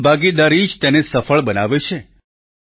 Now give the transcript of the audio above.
જનભાગીદારી જ તેને સફળ બનાવે છે